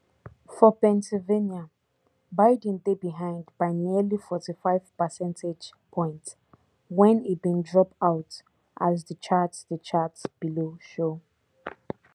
for pennsylvania biden dey behind by nearly forty-five percentage points wen e bin drop out as di chart di chart below show